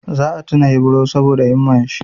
Za a tuna Ibro saboda himman shi.